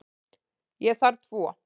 Ég þarf tvo.